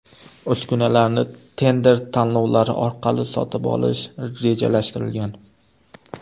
Uskunalarni tender tanlovlari orqali sotib olish rejalashtirilgan.